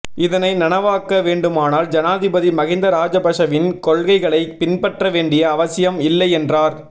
இதனை நனவாக்க வேண்டுமானால் ஜனாதிபதி மஹிந்த ராஜபக்ஷவின் கொள்கைகளை பின்பற்ற வேண்டிய அவசியம் இல்லை என்றார்